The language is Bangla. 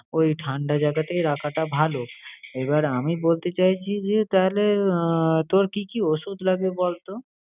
ওই ঠাণ্ডা জায়গাতেই রাখাটা ভালো। এবার আমি বলতে চাইছি যে, তাহলে আহ তোর কি কি ওষুধ লাগবে বলতো?